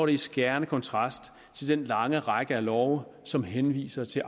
i skærende kontrast til den lange række af love som henviser til